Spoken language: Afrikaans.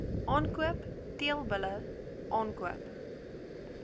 aankoop teelbulle aankoop